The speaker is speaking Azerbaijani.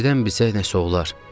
Birdən bilsək nəsə olar.